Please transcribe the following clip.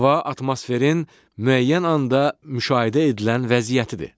Hava atmosferin müəyyən anda müşahidə edilən vəziyyətidir.